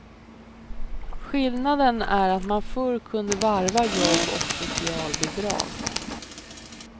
Skillnaden är att man förr kunde varva jobb och socialbidrag.